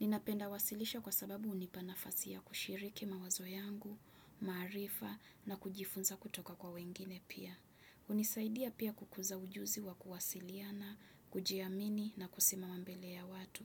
Ninapenda wasilisha kwa sababu hunipanafas ya kushiriki mawazo yangu, maarifa na kujifunza kutoka kwa wengine pia. Hunisaidia pia kukuza ujuzi wa kuwasiliana, kujiamini na kusimama mbele ya watu.